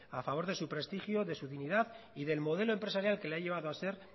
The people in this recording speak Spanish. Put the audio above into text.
a favor de su prestigio de su dignidad y del modelo empresarial que le ha llevado a ser